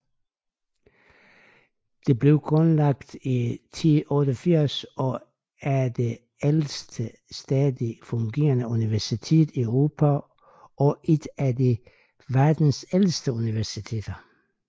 Det blev grundlagt i 1088 og er det ældste stadigt fungerende universitet i Europa og et af verdens ældste universiteteter